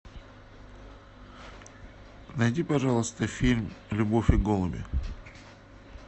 найди пожалуйста фильм любовь и голуби